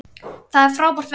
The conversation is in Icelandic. Það er frábært verk.